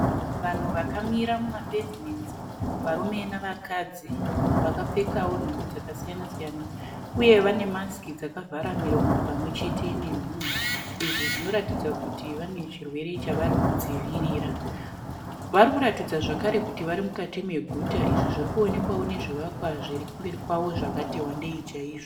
Vanhu vakamira mumapevhimenzi varume nevakadzi vakapfekawo nhumbi dzakasiyana siyana uye vane masiki dzakavhara miromo pamwe chete nemhuno izvo zvinoratidza kuti vane zvirwere zvavari kudzivirira. Vari kuratidza zvakare kuti vari mukati meguta izvi zviri kuonekwa nezvivakwa zviri kumberi kwavo zvakati wandei chaizvo.